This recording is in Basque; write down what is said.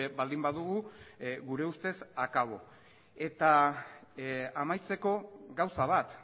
baldin badugu gure ustez akabo eta amaitzeko gauza bat